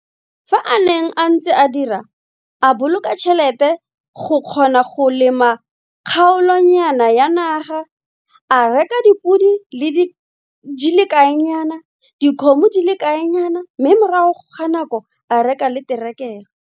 Fa a neng a ntse a dira, a boloka tšhelete go kgona go lema kgaolonyana ya naga, a reka dipodi di le kaenyana, dikgomo di le kaenyana mme morago ga nako a reka le terekere.